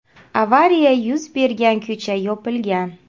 Avariya yuz bergan ko‘cha yopilgan.